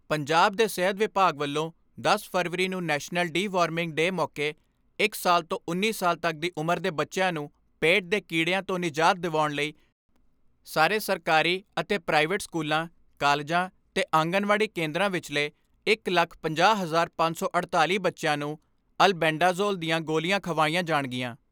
ਪੰਜਾਬ ਦੇ ਸਿਹਤ ਵਿਭਾਗ ਵੱਲੋਂ ਦਸ ਫਰਵਰੀ ਨੂੰ ਨੈਸ਼ਨਲ ਡੀ ਵਰਮਿੰਡ ਡੇ ਮੌਕੇ ਇਕ ਸਾਲ ਤੋਂ ਉੱਨੀ ਸਾਲ ਤੱਕ ਦੀ ਉਮਰ ਦੇ ਬੱਚਿਆਂ ਨੂੰ ਪੇਟ ਦੇ ਕੀੜਿਆਂ ਤੋਂ ਨਿਜਾਤ ਦਿਵਾਉਣ ਲਈ ਸਾਰੇ ਸਰਕਾਰੀ ਅਤੇ ਪ੍ਰਾਈਵੇਟ ਸਕੂਲਾਂ, ਕਾਲਜਾਂ ਤੇ ਆਂਗਨਵਾੜੀ ਕੇਂਦਰਾਂ ਵਿਚਲੇ ਇਕ ਲੱਖ ਪੰਜਾਹ ਹਜਾਰ ਪੰਜ ਸੌ ਅੜਤਾਲੀ ਬੱਚਿਆਂ ਨੂੰ ਅਲਬੈਂਡਾਜੋਲ ਦੀਆਂ ਗੋਲੀਆਂ ਖਵਾਈਆਂ ਜਾਣਗੀਆਂ।